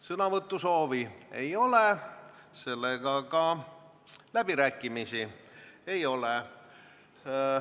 Sõnavõtusoovi ei ole, seega ka läbirääkimisi ei ole.